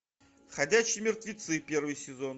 ходячие мертвецы первый сезон